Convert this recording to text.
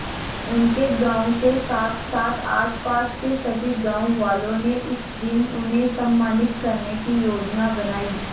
उनके गांव के साथसाथ आसपास के सभी गांव वालों ने उस दिन उन्हें सम्मानित करने की योजना बनाई